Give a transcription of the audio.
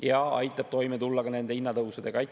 See aitab toime tulla ka nende hinnatõusudega.